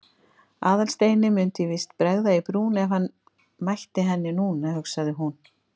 Aðalsteini mundi víst bregða í brún ef hann mætti henni núna, hugsaði hún.